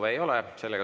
Rohkem kõnesoove ei ole.